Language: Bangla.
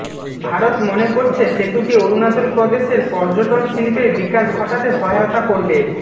ভারত মনে করছে সেতুটি অরুণাচল প্রদেশের পর্যটন শিল্পের বিকাশ ঘটাতে সহায়তা করবে